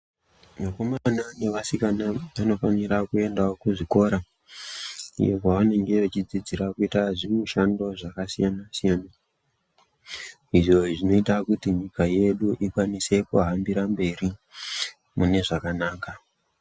Akomana ne vasikana vanofanira kuendawo ku zvikora iyo kwa vanenge vachi dzidzira kuita zvi mishando zvaka siyana siyana izvo zvinoita kuti nyika yedu ikwanise ku hambira mberi mune zvakanaka.